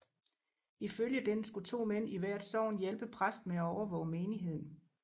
Ifølge den skulle to mænd i hvert sogn hjælpe præsten med at overvåge menigheden